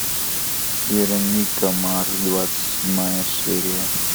вероника марс двадцать седьмая серия